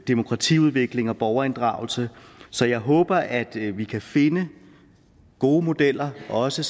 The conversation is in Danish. demokratiudvikling og borgerinddragelse så jeg håber at vi kan finde gode modeller som også